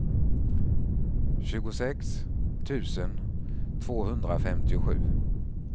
tjugosex tusen tvåhundrafemtiosju